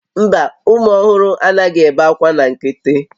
Mba, ụmụ ọhụrụ anaghị ebe akwa na nkịtị